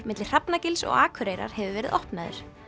milli Hrafnagils og Akureyrar hefur verið opnaður